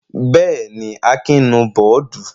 Bẹ́ẹ̀ jí, Akin bù bọ́ọ́dù.